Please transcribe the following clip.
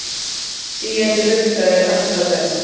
Sígandi lukka er alltaf best.